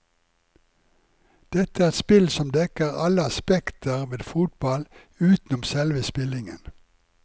Dette er spill som dekker alle aspekter ved fotball utenom selve spillingen.